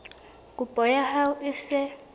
kopo ya hao e se